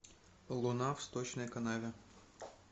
луна в сточной канаве